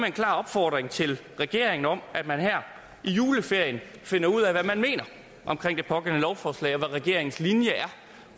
en klar opfordring til regeringen om at man her i juleferien finder ud af hvad man mener om det pågældende lovforslag regeringens linje er